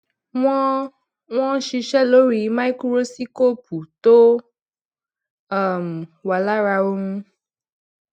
wọn wọn siṣe lori maikurosipu to um wa lara ohun